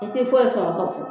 E tɛ foyi sɔrɔ ka fɔ